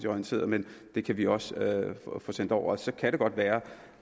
orienteret men det kan vi også få sendt over så kan det godt være